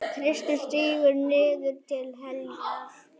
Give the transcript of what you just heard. Kristur stígur niður til heljar.